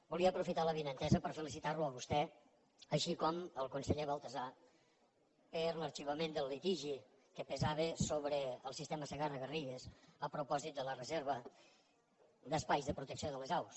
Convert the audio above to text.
volia aprofitar l’avinentesa per felicitar lo a vostè així com al conseller baltasar per l’arxivament del litigi que pesava sobre el sistema segarra garrigues a propòsit de la reserva d’espais de protecció de les aus